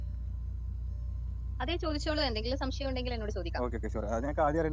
അതെ ചോദിച്ചോളു, എന്തെങ്കിലും സംശയം ഉണ്ടെങ്കിൽ എന്നോട് ചോദിക്കാം.